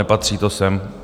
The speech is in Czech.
Nepatří to sem.